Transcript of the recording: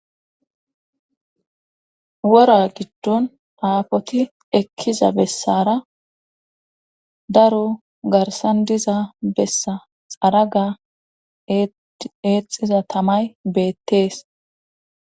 Wora giddon aafoti ekkiza bessara daro garsan diza bessa xaraga eexxiza tamay beettees.